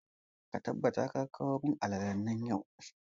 Ka tabbata ka kawo alalalen nan yau!